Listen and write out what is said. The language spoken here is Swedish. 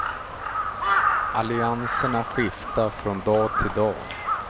Allianserna skiftar från dag till dag.